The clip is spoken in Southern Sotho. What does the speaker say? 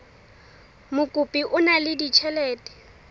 mokopi o na le ditjhelete